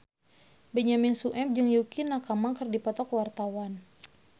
Benyamin Sueb jeung Yukie Nakama keur dipoto ku wartawan